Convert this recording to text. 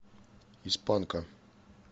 из панка